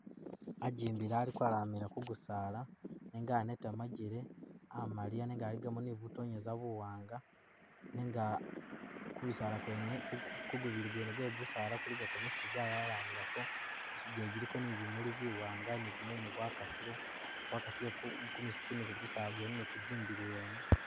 Ajimbila ali kwalamila kugusala nenga aneta majele amaliya nenga aligamo ni butonyesa buwanga nenga kubisala kwene kugubili gwene gwe gusala kuligako misitu jayalamilako misitu jene jiliko ni bimuli bi wanga ni gumumu gwakasile gwakasile kumisitu ni kugusala gwene ni kujimbili wene.